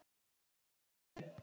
Þau eru í núinu.